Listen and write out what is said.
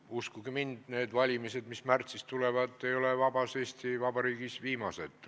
Uskuge mind, need valimised, mis märtsis tulevad, ei ole vabas Eesti Vabariigis viimased.